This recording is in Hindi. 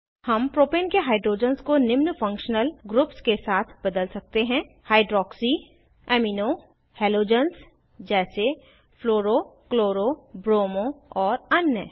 हम प्रोपेन के हाइड्रोजन्स को निम्न फंक्शनल ग्रुप्स के साथ बदल सकते हैं हाइड्रॉक्सी अमीनो हैलोजन्स जैसे फ्लोरो क्लोरो ब्रोमो और अन्य